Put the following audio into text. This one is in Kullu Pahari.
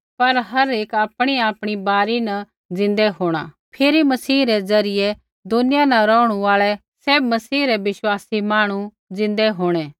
पर हर एक आपणीआपणी बारी न ज़िन्दै होंणा पैहलै मसीह ज़िन्दै होंणा फिरी मसीह रै ज़रियै दुनिया न रौहणु आल़ै सैभ मसीह रै विश्वासी मांहणु ज़िन्दै होंणै